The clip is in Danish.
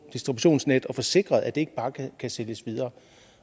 distributionsnet at få sikret at det ikke bare kan sælges videre